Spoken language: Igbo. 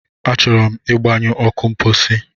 Achọrọ m ịgbanyụ ọkụ mposi.